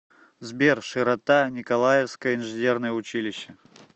сбер широта николаевское инженерное училище